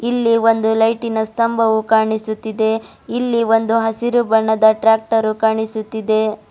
ಇಲ್ಲಿ ಒಂದು ಲೈಟಿನ ಸ್ತಂಭವು ಕಾಣಿಸುತ್ತಿದೆ ಇಲ್ಲಿ ಒಂದು ಹಸಿರು ಬಣ್ಣದ ಟ್ರಾಕ್ಟರು ಕಾಣಿಸುತ್ತಿದೆ.